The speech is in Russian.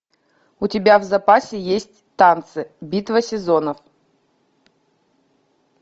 у тебя в запасе есть танцы битва сезонов